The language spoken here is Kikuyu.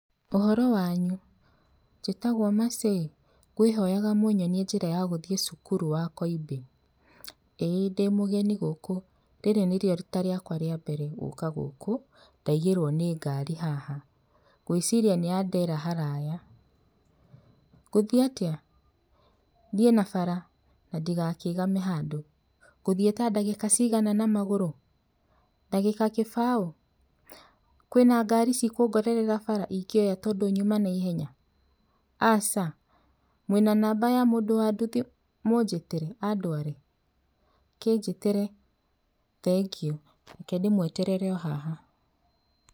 ''Ũhoro wanyu? njĩtagwo Mercy, kwĩhoyaga mũnyonie njĩra ya gũthiĩ cukuru wa Koimbĩ, ĩĩ ndĩmũgeni gũkũ, rĩrĩ nĩrio rĩta rĩa mbere gũka gũkũ ndaigĩrwo nĩ ngari haha ndeciria nĩandera haraya na aya, ngũthii atĩa? thiĩ na bara ndigakĩgame handũ ngũthĩe ta ndagĩka cigana na magũru? ndagĩka kĩbaũ? kwĩna ngari cikũngorerea bara ingĩoya tondu nyuma na ihenya? aca, mwĩna namba ya mũndũ wa nduthi mũjĩtĩre andware? kĩjĩtĩre, thengio, kendĩmweterere ohaha .''